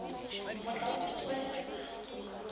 motla o tutswe wa jeremane